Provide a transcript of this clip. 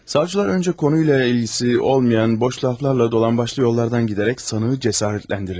Savcılar öncə konuyla ilgisi olmayan boş laflarla dolambaçlı yollardan gedərək sanığı cəsarətləndirirlər.